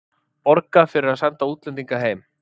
Borgað fyrir að senda útlendinga heim